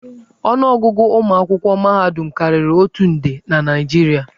Ọnụ ọgụgụ ụmụ akwụkwọ mahadum karịrị otu nde na Naịjirịa.